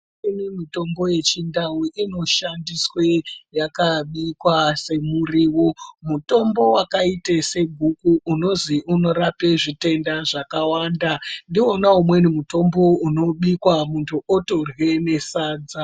Kune mitombo ye chindau inoshandiswe yakabikwa se muriwo mutombo wakaite se guku unozi unorape zvitenda zvakawanda ndiwona umweni mutombo uno bikwa muntu otorya ne sadza.